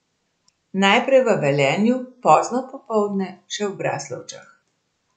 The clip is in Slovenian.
Najprej v Velenju, pozno popoldne še v Braslovčah.